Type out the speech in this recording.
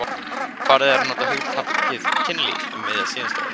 Farið er að nota hugtakið kynlíf um miðja síðustu öld.